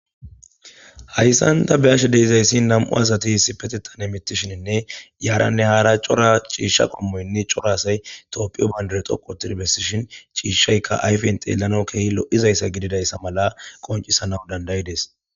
Hayssan da beashe deizayssi nam'u asati hisi petetane mitishininne yaaranne haara cora ciishsha qommoynne corasay toopphiyo baundar xoqotidbessishin ciishshaykka ayfen xeellano kehi lo'zayssa gididayssa mala qoncisana dandayides.